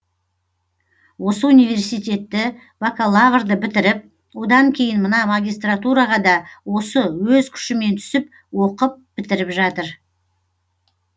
осы университетті бакалаврды бітіріп одан кейін мына магистратураға да осы өз күшімен түсіп оқып бітіріп жатыр